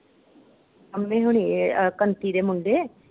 ਪੰਮੇ ਹੋਣੀ ਏ ਇਹ ਕੰਤੀ ਦੇ ਮੁੰਡੇ।